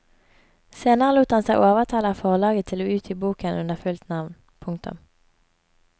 Senere lot han seg overtale av forlaget til å utgi boken under fullt navn. punktum